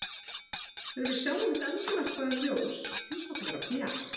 Þegar við sjáum þetta endurvarpaða ljós finnst okkur vera bjart.